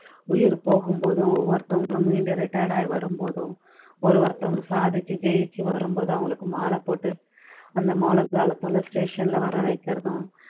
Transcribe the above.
உயிர் போகும்போதும் ஒவ்வொருத்தவங்களும் மீண்டு retired ஆகி வரும்போதும் ஒரு ஒருத்தவங்களும் சாதிச்சு ஜெயிச்சு வரும்போதும் அவங்களுக்கு மாலை போட்டு அந்த மோள தாளத்தைலாம் station லே வர வைக்கிறதும்